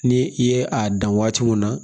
Ni i ye a dan waati mun na